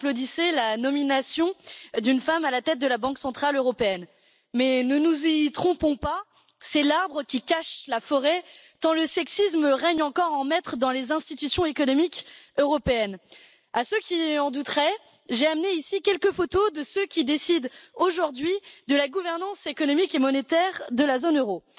Madame la Présidente, il y a quelques mois, tout le monde applaudissait la nomination d'une femme à la tête de la Banque centrale européenne. Mais ne nous y trompons pas c'est l'arbre qui cache la forêt, tant le sexisme règne encore en maître dans les institutions économiques européennes. à ceux qui en douteraient, j'ai amené ici quelques photos de ceux qui décident aujourd'hui de la gouvernance économique et monétaire de la zone euro.